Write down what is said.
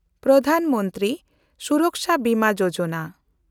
Pradhan Mantri Suraksha Bima Yojana